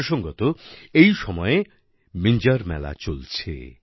প্রসঙ্গত এই সময়ে মিঞ্জার মেলা চলছে